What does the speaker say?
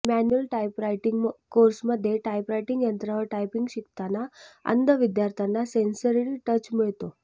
manual typewriting कोर्समध्ये typewriting यंत्रावर typing शिकताना अंध विद्यार्थ्यांना सेन्सरी टच मिळतो